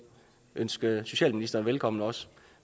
ønske socialministeren velkommen også